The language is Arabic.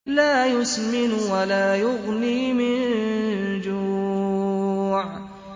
لَّا يُسْمِنُ وَلَا يُغْنِي مِن جُوعٍ